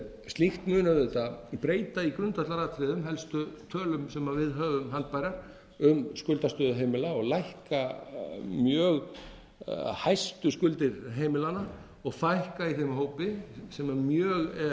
slíkt mun auðvitað breyta í grundvallaratriðum helstu tölum sem við höfum haldbærar um skuldastöðu heimila og lækka mjög hættuskuldir heimilanna og fækka í þeim hópi sem mjög er